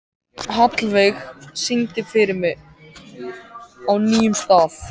Hallveig, syngdu fyrir mig „Á nýjum stað“.